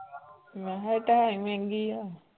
ਮੈਂ ਕਿਹਾ ਇੱਟ ਹੈ ਹੀ ਮਹਿੰਗੀ ਹੈ।